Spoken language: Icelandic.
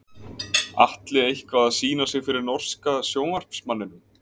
Atli eitthvað að sýna sig fyrir norska sjónvarpsmanninum?